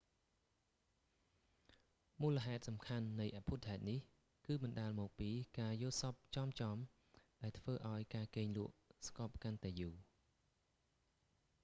មូលហេតុសំខាន់នៃអភូតហេតុនេះគឺបណ្តាលមកពីការយល់សប្តិចំៗ ដែលធ្វើឲ្យការគេងលក់ស្កប់កាន់តែយូរ